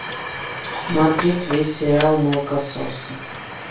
смотреть весь сериал молокососы